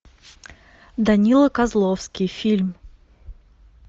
данила козловский фильм